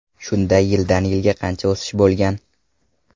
Shunda yildan yilga qancha o‘sish bo‘lgan?